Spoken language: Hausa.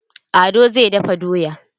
Ado zai dafa doya.